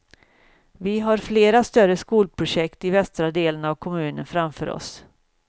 Vi har flera större skolprojekt i västra delen av kommunen framför oss.